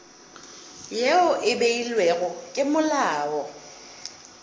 yeo e beilwego ke molao